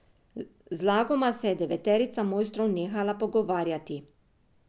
Zlagoma se je deveterica mojstrov nehala pogovarjati.